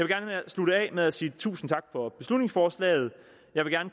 gerne slutte af med at sige tusind tak for beslutningsforslaget jeg vil